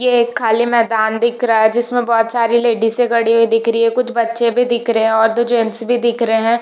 यह एक खाली मेदान दिख रहा है जिसमें बहुत सारे लेडिसे खड़ी हुई दिख रही है कुछ बच्चे भी दिख रहे है और दो जेंट्स भी दिख रहा है।